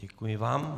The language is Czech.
Děkuji vám.